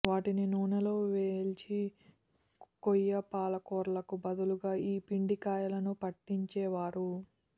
వాటిని నూనెలో వేల్చి కొయ్య పాలకాయలకు బదులుగా ఈ పిండికాయలను పట్టించేవారు